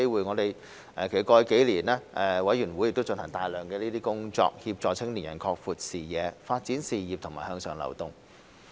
過去幾年，委員會進行大量工作，協助青年人擴闊視野、發展事業及向上流動。